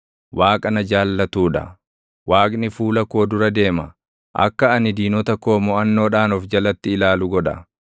Waaqa na jaallatuu dha. Waaqni fuula koo dura deema; akka ani diinota koo moʼannoodhaan of jalatti ilaalu godha.